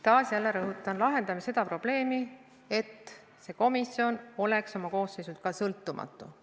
Taas jälle rõhutan, et me lahendame seda probleemi, et see komisjon oleks oma koosseisult sõltumatu.